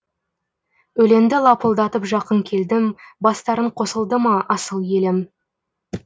өлеңді лапылдатып жақын келдім бастарың қосылды ма асыл елім